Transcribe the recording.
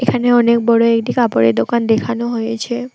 এখানে অনেক বড় একটি কাপড়ের দোকান দেখানো হয়েছে।